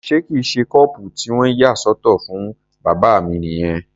Ṣé kìí ṣe kọ́ọ̀pù tí wọ́n yà sọ́tọ̀ fún bàbá mi nìyẹn?